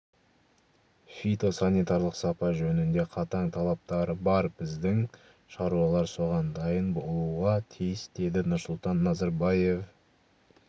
фитосанитарлық сапа жөнінде қатаң талаптары бар біздің шаруалар соған дайын болуға тиіс деді нұрсұлтан назарбаев